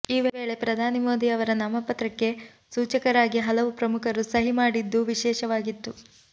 ಈ ವೇಳೆ ಪ್ರಧಾನಿ ಮೋದಿ ಅವರ ನಾಮಪತ್ರಕ್ಕೆ ಸೂಚಕರಾಗಿ ಹಲವು ಪ್ರಮುಖರು ಸಹಿ ಮಾಡಿದ್ದು ವಿಶೇಷವಾಗಿತ್ತು